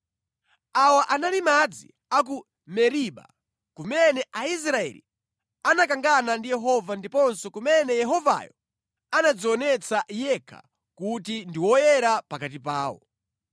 Awa anali madzi a ku Meriba, kumene Aisraeli anakangana ndi Yehova ndiponso kumene Yehovayo anadzionetsa yekha kuti ndi Woyera pakati pawo.